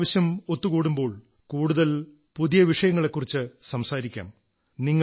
അടുത്ത പ്രാവശ്യം ഒത്തുകൂടുമ്പോൾ കൂടുതൽ പുതിയ വിഷയങ്ങളെക്കുറിച്ചു സംസാരിക്കാം